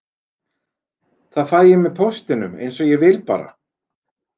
Það fæ ég með póstinum, eins og ég vil bara.